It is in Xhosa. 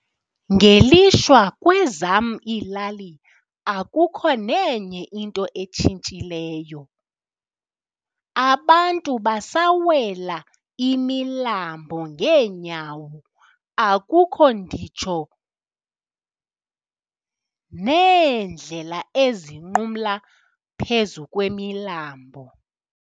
Ngelishwa kwezam iilali akukho nenye into etshintshileyo, abantu basawela imilambo ngeenyawo akukho nditsho neendlela ezinqumla phezu kwimilambo.